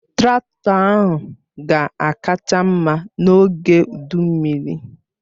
Traktọ ahụ ga-akacha mma n'oge udu mmiri.